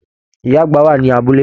Ìyá àgbà wà ní abúlé.